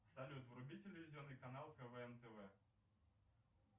салют вруби телевизионный канал квн тв